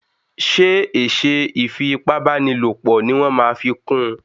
ṣe eṣe ifi ipá báni lọpọ ní wan fí kún?